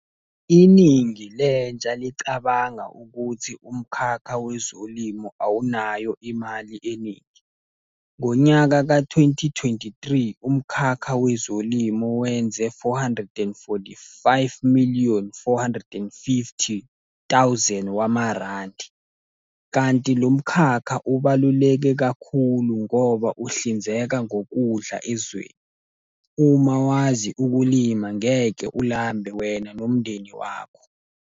Iningi lentsha licabanga ukuthi umkhakha wezolimo awunayo imali eningi. Ngonyaka ka-twenty, twenty-three, umkhakha wezolimo wenze four hundred and forty-five million, four hundred and fifty thousand wamarandi, kanti lo mkhakha ubaluleke kakhulu ngoba uhlinzeka ngokudla ezweni. Uma wazi ukulima ngeke ulambe wena nomndeni wakho.